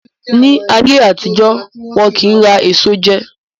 Ni ayé àtijọ́, wọn kì ń rà èso jẹ